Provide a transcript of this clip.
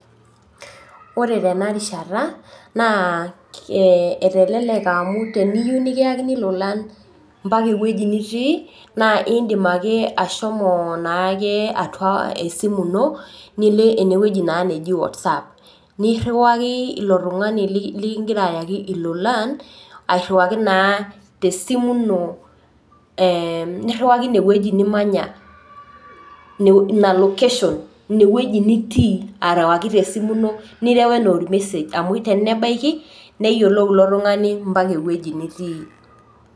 Ore tenarishata na eteleleka amu teniyieu nikaikini lolan ambaka ewoi nitii naa indim ake ashomo atua esimu ino nilo enewueji naji watsapp niriwaki ilo tungani likingira ayaki lolan niriwaki e niriwaki inewueji nimanya, niriwaki ina location inewueji nitii nireu anaa ormesej amu tenebaiki neyiolou ilotungani ambaka ewoi nitii.